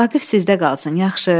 Vaqif sizdə qalsın, yaxşı?